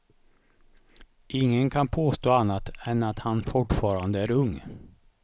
Ingen kan påstå annat än att han fortfarande är ung.